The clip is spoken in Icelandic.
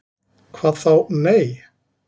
"""Hvað þá., nei."""